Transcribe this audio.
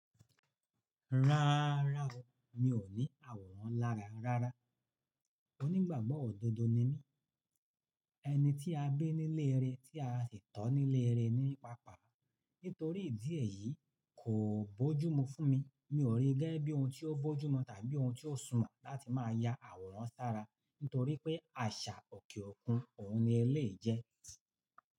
Rárá o, mi ò ní àwòrán lára rárá. Onígbàgbọ́ òdodo ni mí, ẹni tí a bí nílé rẹ tí a sì tó nílé rẹ ní pàápàá. Nítorí ìdí èyí kò bójúmu fún mi, mi ò rí gẹ́ bí ohun tí ó bójúmu tàbí ohun tí ó súnmọ́ láti máa ya àwòrán sára. Nítorí pé àṣà òkè òkun òun ni éléyì jẹ́.